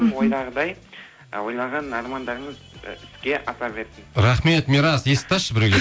ойдағыдай ы ойлаған армандарыңыз і іске аса берсін рахмет мирас есікті ашшы біреу